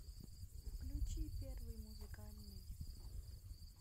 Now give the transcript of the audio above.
включи первый музыкальный